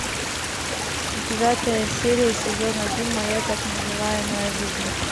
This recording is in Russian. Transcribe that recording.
девятая серия сезон один моя так называемая жизнь